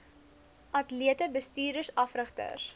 atlete bestuurders afrigters